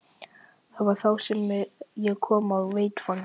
Það var þá sem ég kom á vettvang.